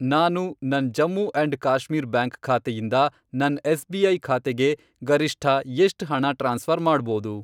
ನಾನು ನನ್ Jammu and Kashmir bank ಖಾತೆಯಿಂದ ನನ್ ಎಸ್.ಬಿ.ಐ. ಖಾತೆಗೆ ಗರಿಷ್ಠ ಎಷ್ಟ್ ಹಣ ಟ್ರಾನ್ಸ್ಫ಼ರ್ ಮಾಡ್ಬೋದು?